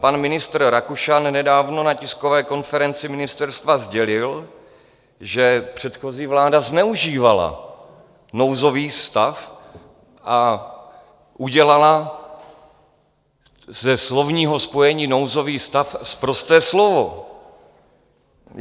Pan ministr Rakušan nedávno na tiskové konferenci ministerstva sdělil, že předchozí vláda zneužívala nouzový stav a udělala ze slovního spojení nouzový stav sprosté slovo.